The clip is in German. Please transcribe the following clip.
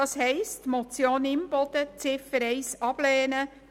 Ziffer 1 der Motion Imboden ablehnen;